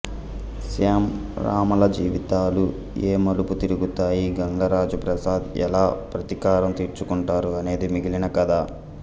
శ్యామ్ రమలజీవితాలు ఏ మలుపు తిరుగుతాయి గంగరాజు ప్రసాద్ ఎలా ప్రతీకారం తీర్చుకుంటారు అనేది మిగిలిన కథ